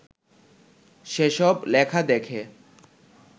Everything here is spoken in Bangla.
সেসব লেখা দেখে